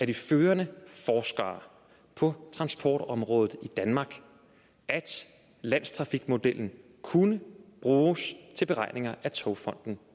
de førende forskere på transportområdet i danmark at landstrafikmodellen kunne bruges til beregninger af togfonden